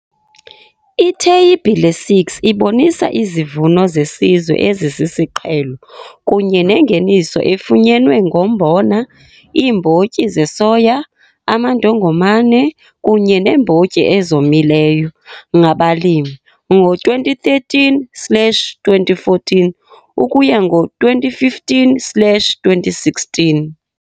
Itheyibhile 6 ibonisa izivuno zesizwe ezisisiqhelo kunye nengeniso efunyenwe ngombona, iimbotyi zesoya, amandongomane kunye neembotyi ezomileyo ngabalimi ngo-2013, 2014 ukuya ngo-2015, 2016.